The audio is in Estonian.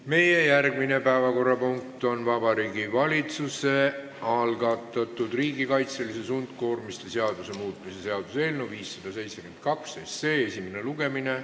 Meie järgmine päevakorrapunkt on Vabariigi Valitsuse algatatud riigikaitseliste sundkoormiste seaduse muutmise seaduse eelnõu 572 esimene lugemine.